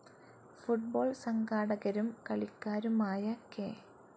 Football സംഘാടകരും കളിക്കാരുമായ K.